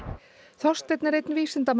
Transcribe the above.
Þorsteinn er einn